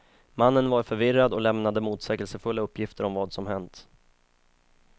Mannen var förvirrad och lämnade motsägelsefulla uppgifter om vad som hänt.